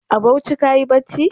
A Bauchi kayi bacci?